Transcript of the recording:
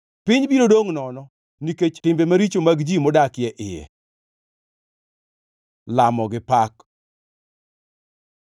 Piny biro dongʼ nono, nikech timbe maricho mag ji modak e iye. Lamo gi pak